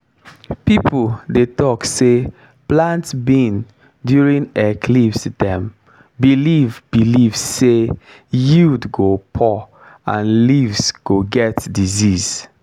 people dey talk say plant bean during eclipse dem believe believe say yield go poor and leaves go get disease.